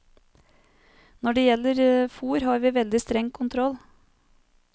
Når det gjelder fôr har vi veldig streng kontroll.